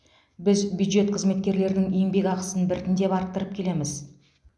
біз бюджет қызметкерлерінің еңбекақысын біртіндеп арттырып келеміз